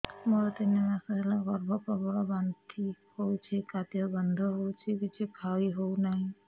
ମୋର ତିନି ମାସ ହେଲା ଗର୍ଭ ପ୍ରବଳ ବାନ୍ତି ହଉଚି ଖାଦ୍ୟ ଗନ୍ଧ ହଉଚି କିଛି ଖାଇ ହଉନାହିଁ